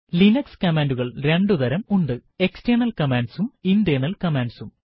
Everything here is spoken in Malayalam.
ലിനക്സ് കമാൻഡുകൾ രണ്ടു തരം ഉണ്ട് എക്സ്റ്റെണൽ കമാൻഡ്സും ഇന്റേർണൽ കമാൻഡ്സും